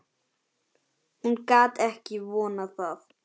Hún gat ekki vonað annað.